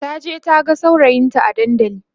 taje taha saurayinta a dandali